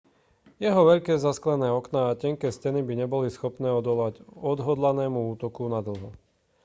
jeho veľké zasklené okná a tenké steny by neboli schopné odolať odhodlanému útoku nadlho